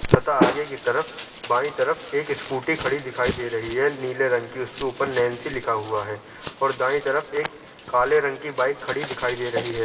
तथा आगे की तरफ बाई तरफ एक स्कूटी खड़ी दिखाई दे रही है नीले रंग की उसके उपर नैंसी लिखा हुआ है और दाए तरफ एक काले रंग की बाइक खड़ी दिखाई दे रही है।